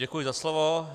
Děkuji za slovo.